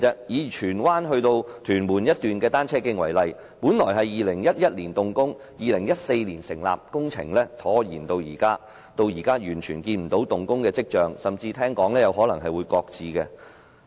以荃灣至屯門的一段單車徑為例，本應於2011年動工 ，2014 年建成，但工程拖延至今，現時完全沒有動工的跡象，聽聞甚至有可能會擱置。